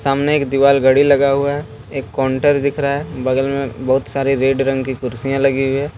सामने एक दीवाल घड़ी लगा हुआ है एक कोन्टर दिख रहा है बगल में बहुत सारी रेड रंग की कुर्सियां लगी हुई है।